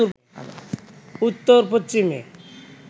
উত্তর পশ্চিমে